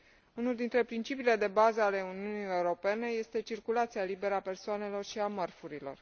Unul dintre principiile de bază ale Uniunii Europene este circulația liberă a persoanelor și a mărfurilor.